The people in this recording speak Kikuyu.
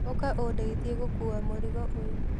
ũka ũndeithia gũkua mũrigo ũyũ